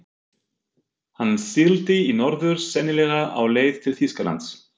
Hann sigldi í norður, sennilega á leið til Þýskalands.